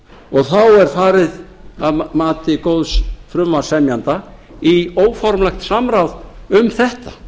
og þá er farið að mati góðs frumvarpssemjanda í óformlegt samráð um þetta